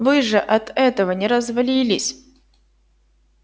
вы же от этого не развалились